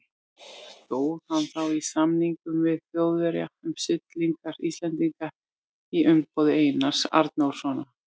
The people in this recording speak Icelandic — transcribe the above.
Stóð hann þá í samningum við Þjóðverja um siglingar Íslendinga í umboði Einars Arnórssonar.